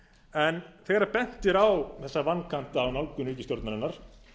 en þegar bent er á þessa vankanta á nálgun ríkisstjórnarinnar